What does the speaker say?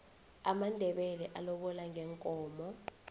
amandebele alobola ngeenkomo